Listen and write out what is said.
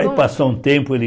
Aí passou um tempo, ele...